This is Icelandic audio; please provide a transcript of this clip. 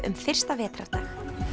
um fyrsta vetrardag